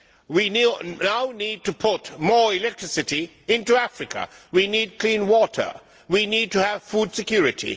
We now need to put more electricity into Africa, we need clean water, and we need to have food security.